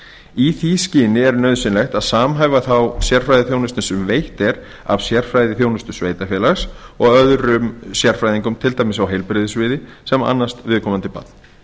í því skyni er nauðsynlegt að samhæfa þá sérfræðiþjónustu sem veitt er af sérfræðiþjónustu sveitarfélags og öðrum sérfræðingum til dæmis á heilbrigðissviði sem annast viðkomandi barn